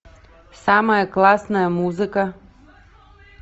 самая классная музыка